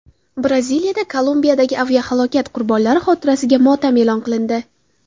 Braziliyada Kolumbiyadagi aviahalokat qurbonlari xotirasiga motam e’lon qilindi.